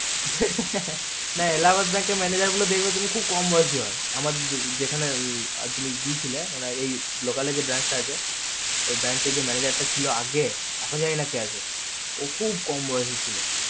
হে হে হে হে Allahabad bank এর manager গুলো দেখবে খুব কম বয়োসী হয় আমার যেখানে তুমি গিয়েছিলে মানে এ local যে branch টা আছে ওই branch এ যে manager টা ছিল আগে এখন জানি কে আছে ও খুব কম বয়োসী ছিল